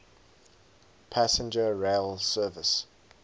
passenger rail service